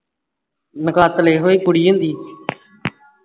ਨਕਾਤਲ ਇਹੋ ਕੁੜੀ ਹੁੰਦੀ ਹੈ